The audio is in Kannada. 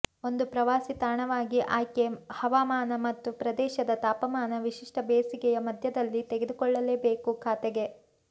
ಒಂದು ಪ್ರವಾಸಿ ತಾಣವಾಗಿ ಆಯ್ಕೆ ಹವಾಮಾನ ಮತ್ತು ಪ್ರದೇಶದ ತಾಪಮಾನ ವಿಶಿಷ್ಟ ಬೇಸಿಗೆಯ ಮಧ್ಯದಲ್ಲಿ ತೆಗೆದುಕೊಳ್ಳಲೇಬೇಕು ಖಾತೆಗೆ